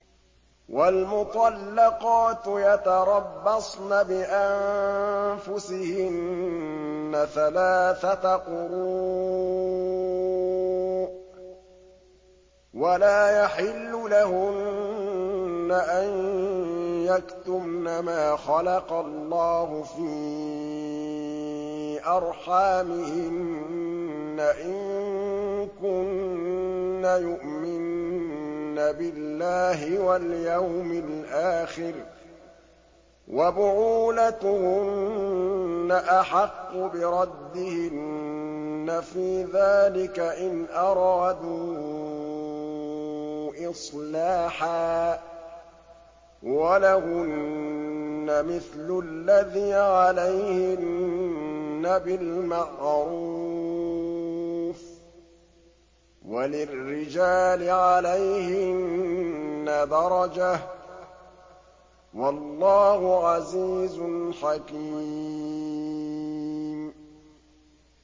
وَالْمُطَلَّقَاتُ يَتَرَبَّصْنَ بِأَنفُسِهِنَّ ثَلَاثَةَ قُرُوءٍ ۚ وَلَا يَحِلُّ لَهُنَّ أَن يَكْتُمْنَ مَا خَلَقَ اللَّهُ فِي أَرْحَامِهِنَّ إِن كُنَّ يُؤْمِنَّ بِاللَّهِ وَالْيَوْمِ الْآخِرِ ۚ وَبُعُولَتُهُنَّ أَحَقُّ بِرَدِّهِنَّ فِي ذَٰلِكَ إِنْ أَرَادُوا إِصْلَاحًا ۚ وَلَهُنَّ مِثْلُ الَّذِي عَلَيْهِنَّ بِالْمَعْرُوفِ ۚ وَلِلرِّجَالِ عَلَيْهِنَّ دَرَجَةٌ ۗ وَاللَّهُ عَزِيزٌ حَكِيمٌ